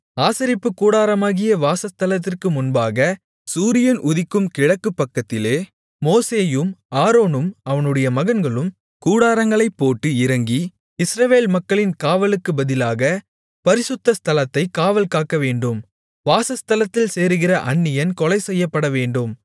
ஆசரிப்புக் கூடாரமாகிய வாசஸ்தலத்திற்கு முன்பாக சூரியன் உதிக்கும் கிழக்குபக்கத்திலே மோசேயும் ஆரோனும் அவனுடைய மகன்களும் கூடாரங்களைப் போட்டு இறங்கி இஸ்ரவேல் மக்களின் காவலுக்குப் பதிலாகப் பரிசுத்த ஸ்தலத்தைக் காவல் காக்கவேண்டும் வாசஸ்தலத்தில் சேருகிற அந்நியன் கொலைசெய்யப்படவேண்டும்